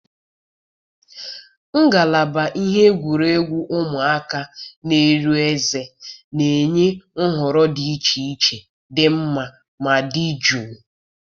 ngalaba ihe egwuregwu ụmụaka na-eri ezé na-enye nhọrọ dị iche iche dị mma ma dị jụụ.